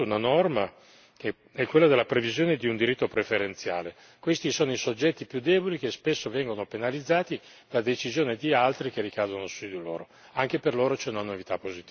Noi abbiamo introdotto una norma che è quella della previsione di un diritto preferenziale questi sono i soggetti più deboli, che spesso vengono penalizzati da decisioni di altri che ricadono su di loro.